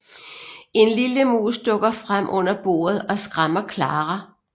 En lille mus dukker frem under bordet og skræmmer Clara